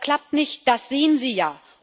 Das klappt nicht, das sehen Sie ja.